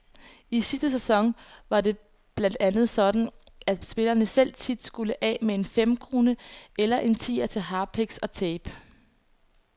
I sidste sæson var det blandt andet sådan, at spillerne selv tit skulle af med en femkrone eller en tier til harpiks og tape.